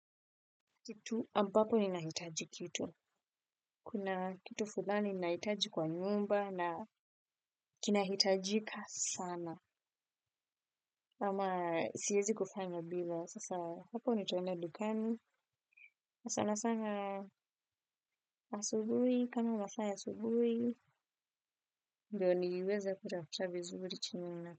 Kitu ambapo ninahitaji kitu. Kuna kitu fulani ninahitaji kwa nyumba na kinahitajika sana. Ama siwezi kufanya bila. Sasa hapo nitaenda dukani. Sana sana asubuhi. Kama unafanya asubuhi. Ndiio niliweza kutafuta vizuri chini.